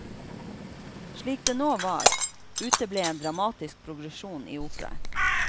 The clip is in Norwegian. Slik det nå var, uteble en dramatisk progresjon i operaen.